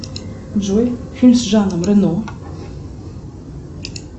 джой фильм с жаном рено